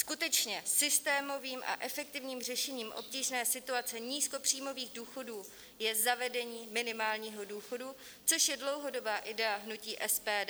Skutečně systémovým a efektivním řešením obtížné situace nízkopříjmových důchodů je zavedení minimálního důchodu, což je dlouhodobá idea hnutí SPD.